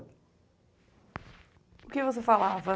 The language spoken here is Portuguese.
O que você falava?